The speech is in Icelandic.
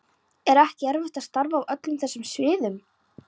Er ekki erfitt að starfa á öllum þessum sviðum?